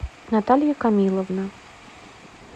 наталья камиловна